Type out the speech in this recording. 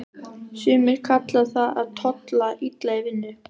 Sumir kalla það að tolla illa í vinnu.